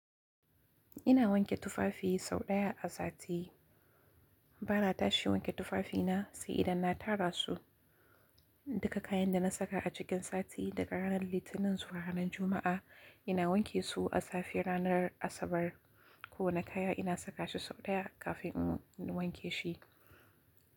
Ina wanke tufafi sau ɗaya a sati. Ba na tashi wanke tufafina sai idan na tara su. Duka kayan da na saka a cikin sati daga ranar Litinin zuwa ranar Juma'a, ina wanke su asafe ranar Asabar. Kowane kaya ina saka shi sau ɗaya kafin in wanke shi.